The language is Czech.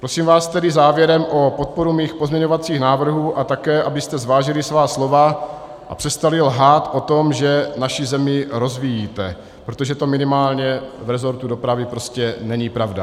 Prosím vás tedy závěrem o podporu mých pozměňovacích návrhů a také, abyste zvážili svá slova a přestali lhát o tom, že naši zemi rozvíjíte, protože to minimálně v resortu dopravy prostě není pravda.